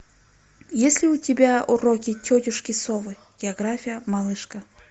есть ли у тебя уроки тетушки совы география малышка